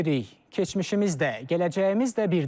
Keçmişimiz də, gələcəyimiz də birdir.